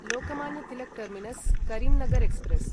Lokmanya Tilak terminus Karimnagar express